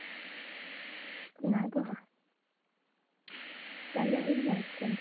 নাই পঢ়া। কাইলৈ আহিবি নাই school ?